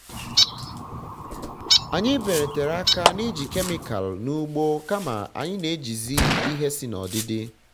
anyị belatara aka na-iji kemikalụ n'ugbo kama anyi na-ejizi ihe si n'odidi